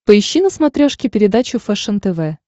поищи на смотрешке передачу фэшен тв